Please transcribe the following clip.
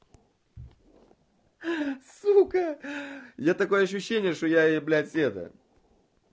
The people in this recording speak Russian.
сука я такое ощущение что я ей блядь это